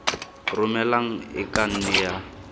romelang e ka nne ya